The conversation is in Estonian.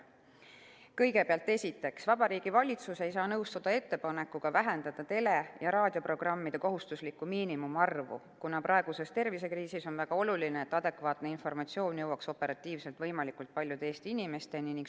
Kõigepealt, esiteks, Vabariigi Valitsus ei saa nõustuda ettepanekuga vähendada tele- ja raadioprogrammide kohustuslikku miinimumarvu, kuna praeguse tervisekriisi ajal on väga oluline, et adekvaatne informatsioon jõuaks operatiivselt võimalikult paljude Eesti inimesteni.